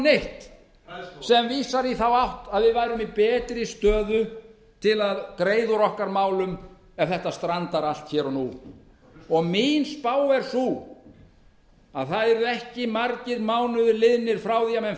neitt sem vísar í þá átt að við værum í betri stöðu til að greiða úr okkar málum ef þetta strandar allt hér og nú mín spá er sú að það verði ekki margir mánuðir liðnir frá því að